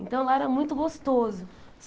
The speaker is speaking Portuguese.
Então, lá era muito gostoso.